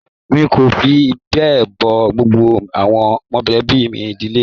Mí kò fí bẹ mọ gbogbo àwọn mọlẹbi ìdílé mí.